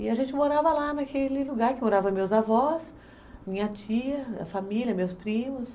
E a gente morava lá naquele lugar que moravam meus avós, minha tia, a família, meus primos.